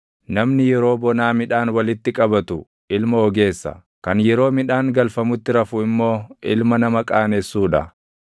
Namni yeroo bonaa midhaan walitti qabatu ilma ogeessa; kan yeroo midhaan galfamutti rafu immoo // ilma nama qaanessuu dha.